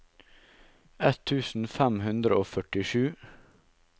ett tusen fem hundre og førtisju